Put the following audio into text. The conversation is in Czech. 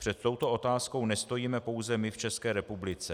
Před touto otázkou nestojíme pouze my v České republice.